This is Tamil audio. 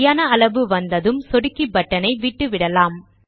சரியான அளவு வந்ததும் சொடுக்கி பட்டன் ஐ விட்டுவிடலாம்